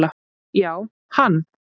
Já, hann